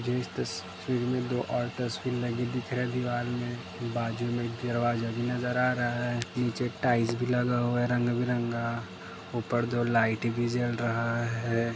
मुझे इस तस्वीर में दो और तस्वीर लगी दिखाई दे रही हैं दीवार में बाजुमें एक दरवाजा भी नजर आ रहा हैं निचे टाइल्स भी लगा हैं रंगबिरंगा ऊपर दो लाइट भी जल रहा हैं।